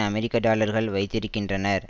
அமெரிக்க டாலர்கள் வைத்திருக்கின்றனர்